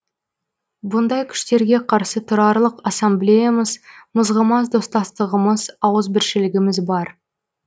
бұндай күштерге қарсы тұрарлық ассамблеямыз мызғымас достастығымыз ауызбіршілігіміз бар